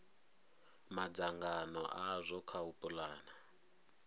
madzangano azwo kha u pulana